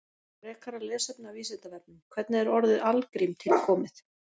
Frekara lesefni af Vísindavefnum: Hvernig er orðið algrím til komið?